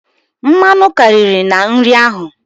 Mmanụ karịrị na nri ahụ.